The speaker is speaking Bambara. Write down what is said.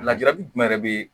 Lajali jumɛn be